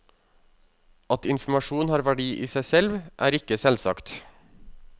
At informasjon har verdi i seg selv er ikke selvsagt.